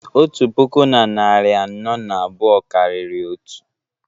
otu puku na narị anọ na abụọ karịrị otu